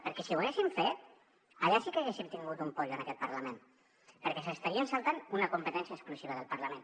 perquè si ho haguessin fet allà sí que haguéssim tingut un pollo en aquest parlament perquè s’estarien saltant una competència exclusiva del parlament